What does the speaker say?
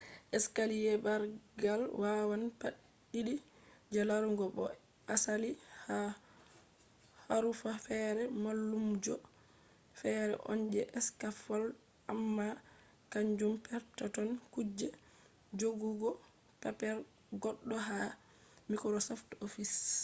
escaliye bargal wawan pat did je larugo bo je asali ha harufa fere mallumjo fere on je scaffold amma kanjum perpeton kuje jogugo paper goddo ha microsoft office